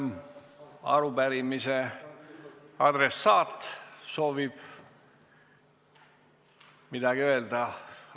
Kas arupärimise adressaat soovib midagi öelda?